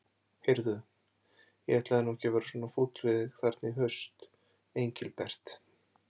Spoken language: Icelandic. Heyrðu. ég ætlaði nú ekkert að vera svona fúll við þig þarna í haust, Engilbert.